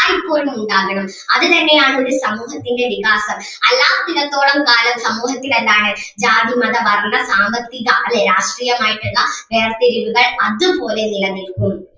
എല്ലായ്‌പ്പോഴും ഉണ്ടാകണം അത് തന്നെ ആണ് ഒരു സമൂഹത്തിൻ്റെ വികാസം. അല്ലാത്തിടത്തോളം കാലം സമൂഹത്തിൽ എന്താണ് ജാതി മത വർണ്ണ സാമ്പത്തിക അല്ലെ രാഷ്ട്രീയമായിട്ടൊള്ള വേർതിരിവുകൾ അതുപോലെ നിലനിൽക്കും.